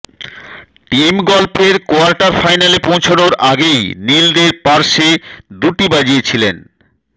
team গল্ফের quarter ফাইনালে পৌঁছানোর আগেই নীলদের পার্শ্বে দুটি বাজিয়েছিলেন